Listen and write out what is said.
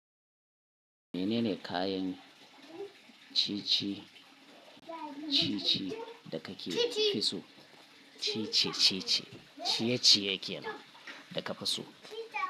Menene kayan ciye-ciye da kake so? Ciye-ciye, ciye-ciye kenan da ka fi so.